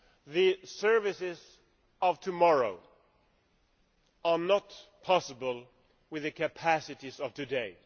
The services of tomorrow are not possible with the capacities of today.